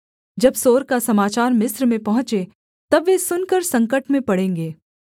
जब सोर का समाचार मिस्र में पहुँचे तब वे सुनकर संकट में पड़ेंगे